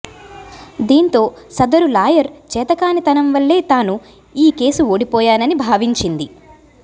దీంతో సదరు లాయర్ చేతకానితనం వల్లే తాను ఈ కేసు ఓడిపోయానని భావించింది